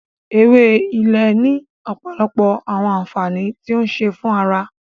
Ewé Ilé ni ọpọlọpọ awọn ànfàní ti o ń ṣe fún ará